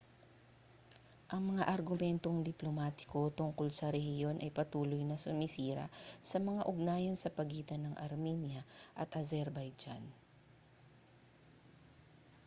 ang mga argumentong diplomatiko tungkol sa rehiyon ay patuloy na sumisira sa mga ugnayan sa pagitan ng armenia at azerbaijan